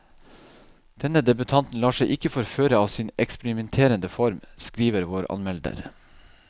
Denne debutanten lar seg ikke forføre av sin eksperimenterende form, skriver vår anmelder.